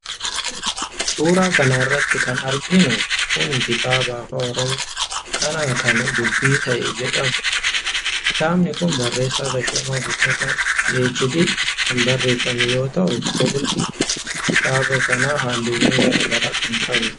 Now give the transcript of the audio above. Suuraa kana irratti kan arginu Kun kitaaba afaan oromoo kana kan dubbii ta'e jedhamudha. Kitaabni Kun barreessa tashoomaa guuttataa (phd) kan barreeffame yoo ta'u qolli kitaaba kanaa halluuwwan gargaraa kan ofirraa qabudha.